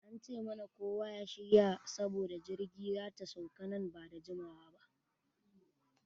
An ce mana kowa ya shirya saboda jirgi zata sauka nan bada jimawa ba.